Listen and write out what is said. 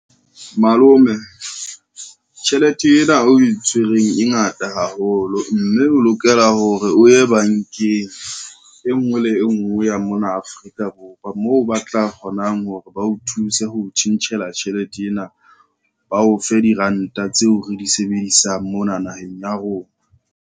Malome, tjhelete ena o e tshwereng e ngata haholo, mme o lokela hore o ye bankeng e ngwe le e ngwe ya mona Afrika Borwa, moo ba tla kgonang hore ba o thuse ho tjhentjhela tjhelete ena. Ba o fe diranta tseo re di sebedisang mona naheng ya rona.